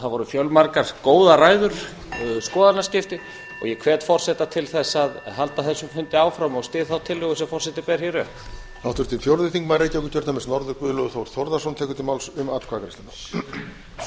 það voru fjölmargar góðar ræður skoðanaskipti og ég hvet forseta til þess að halda þessum fundi áfram og styð þá tillögu sem forseti ber hér upp